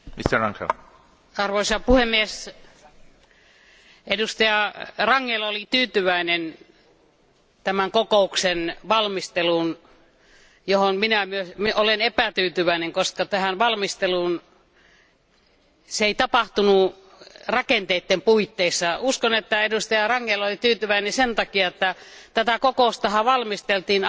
Arvoisa puhemies, jäsen Rangel oli tyytyväinen tämän kokouksen valmisteluun, johon minä olen tyytymätön, koska tämä valmistelu ei tapahtunut rakenteiden puitteissa. Uskon, että jäsen Rangel oli tyytyväinen sen takia, että tätä kokoustahan valmisteltiin aika näyttävässä